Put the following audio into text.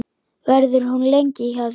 Verður hún lengi hjá þér?